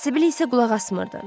Sibil isə qulaq asmırdı.